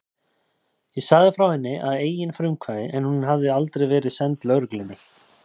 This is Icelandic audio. Ég sagði frá henni að eigin frumkvæði en hún hafði aldrei verið send lögreglunni.